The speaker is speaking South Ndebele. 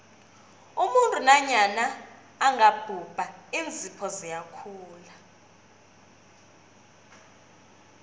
umuntu nanyana angabhubha iinzipho ziyakhula